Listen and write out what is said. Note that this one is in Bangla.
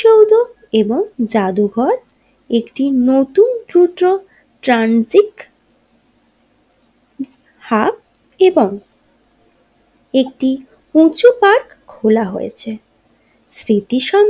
এবং জাদুঘর একটি নতুন ট্রু টো ট্রানজিক হাব এবং একটি উঁচু পার্ক খোলা হয়েছে স্মৃতি সম।